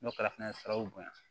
N'o kɛra fɛnɛ siraw bonya